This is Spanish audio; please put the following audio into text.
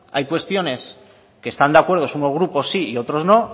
hay cuestiones que están de acuerdo unos grupos sí y otros no